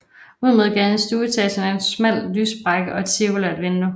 Ud mod gaden i stueetagen er en smal lyssprække og et cirkulært vindue